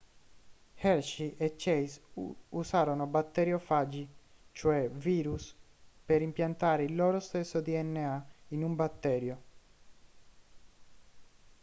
hershey e chase usarono batteriofagi cioè virus per impiantare il loro stesso dna in un batterio